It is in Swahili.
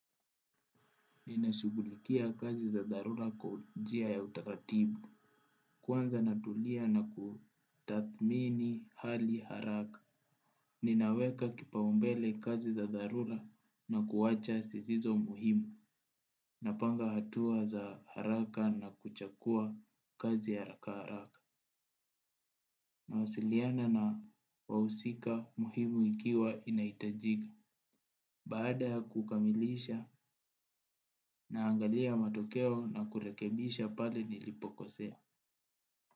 Ninashugulikia kazi za dharura kwa jia ya utaratibu. Kuanza natulia na kutathmini hali haraka. Ninaweka kipaumbele kazi za dharura na kuacha sizizo muhimu. Napanga hatua za haraka na kuchakua kazi ya haraka haraka. Nawasiliana na wausika muhimu ikiwa inaitajika. Baada ya kukamilisha naangalia matokeo na kurekebisha pale nilipokosea.